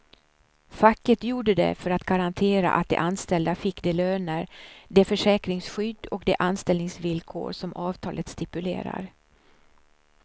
Facket gjorde det för att garantera att de anställda fick de löner, det försäkringsskydd och de anställningsvillkor som avtalet stipulerar.